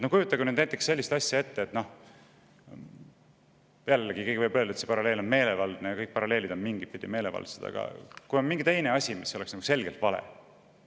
Kujutage näiteks ette sellist asja – võib ju öelda, et see paralleel on meelevaldne, aga kõik paralleelid on mingitpidi meelevaldsed –, et on mingi muu asi, mis on nagu selgelt vale.